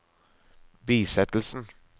bisettelsen